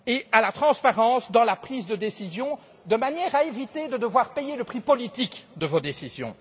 à la transparence dans la prise de décision, de manière à éviter de devoir payer le prix politique de vos décisions.